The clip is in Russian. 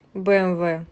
бээмвэ